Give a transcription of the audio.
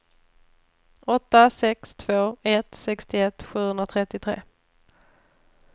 åtta sex två ett sextioett sjuhundratrettiotre